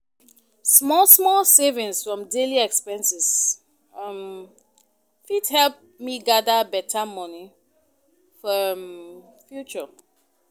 Small small savings from daily expenses um fit help me gather better money for um future.